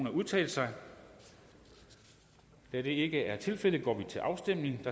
at udtale sig da det ikke er tilfældet går vi til afstemning